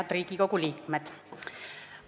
Head Riigikogu liikmed!